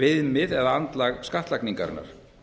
viðmið eða andlag skattlagningarinnar